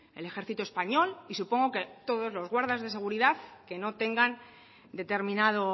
el ejército español y supongo que todos los guardas de seguridad que no tengan determinado